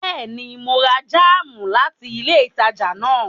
Bẹẹni, Mo rà jam láti ilé ìtàjà náà